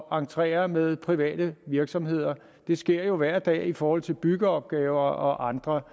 at entrere med private virksomheder det sker jo hver dag i forhold til byggeopgaver og andre